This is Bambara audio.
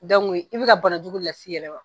i bi ka bana jugu de las'i yɛrɛ ma.